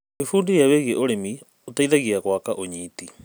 Gwĩbundithia wĩgiĩ ũrĩmi ũteithagia gwaka ũnyiti.